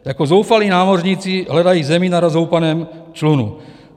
Jako zoufalí námořníci hledají zemi na rozhoupaném člunu.